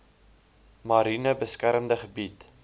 mariene beskermde gebied